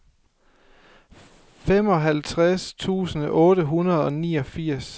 femoghalvtreds tusind otte hundrede og niogfirs